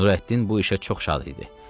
Nurəddin bu işə çox şad idi.